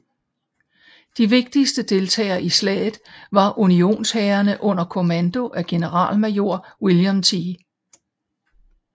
De vigtigste deltagere i slaget var unionshærene under kommando af generalmajor William T